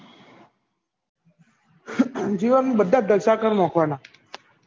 જીવન માં બધા જલસા કરી નાખવાનાં